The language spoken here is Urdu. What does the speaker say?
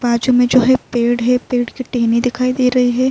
باجو مے جو ہے ایک پیڈ ہے۔ پیڈ کی ٹہنی دکھائی دے رہی ہے۔